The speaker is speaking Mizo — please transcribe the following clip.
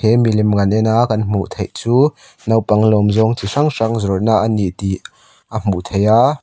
he milem kan ena kan hmuh theih chu naupang lawm zawng chi hrang hrang zawrh na ni tih a hmuh theih a.